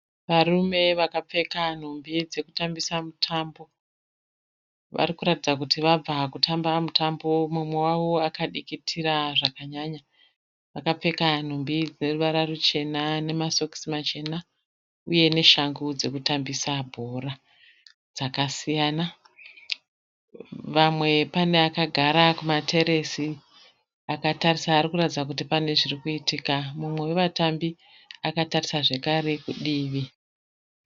Varume vakapfeka nhumbi dzekutambisa mutambo. Varikuratidza kuti vabva kutamba mutambo. Mumwe wavo akadikitira zvakanyanya.